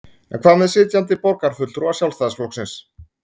En hvað með sitjandi borgarfulltrúa Sjálfstæðisflokksins?